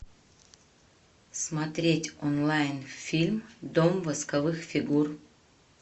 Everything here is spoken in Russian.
смотреть онлайн фильм дом восковых фигур